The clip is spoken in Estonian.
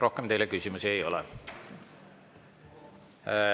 Rohkem teile küsimusi ei ole.